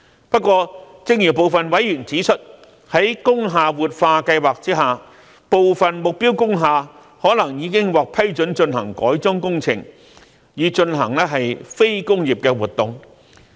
不過，正如部分委員指出，在工廈活化計劃下，部分目標工廈可能已經獲批准進行改裝工程，以進行非工業的活動。